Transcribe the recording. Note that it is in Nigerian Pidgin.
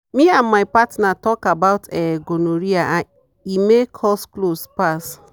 me and my partner talk about um gonorrhea and e make us close pass.